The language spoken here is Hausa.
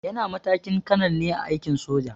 Yana matakin kanal ne a aikin soja.